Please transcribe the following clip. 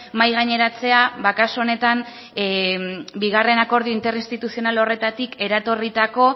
mahai gaineratzea kasu honetan bigarren akordio interinstituzional horretatik eratorritako